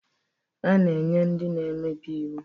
A na-enye ndị na-emebi iwu